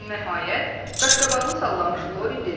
Nəhayət, qaşqabağını sallamış Lori dedi.